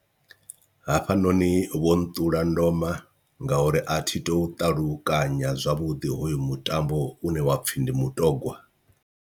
Hafhanoni vho nṱula ndoma ngauri a thi tu ṱalukanya zwavhuḓi hoyu mutambo une wa pfhi ndi mutogwa.